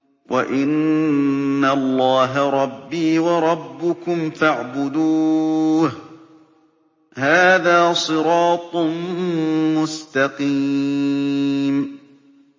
وَإِنَّ اللَّهَ رَبِّي وَرَبُّكُمْ فَاعْبُدُوهُ ۚ هَٰذَا صِرَاطٌ مُّسْتَقِيمٌ